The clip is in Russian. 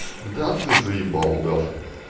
да ты заебал удав